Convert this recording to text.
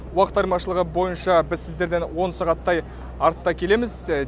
уақыт айырмашылығы бойынша біз сіздерден он сағаттай артта келеміз